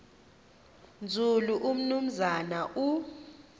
nzulu umnumzana u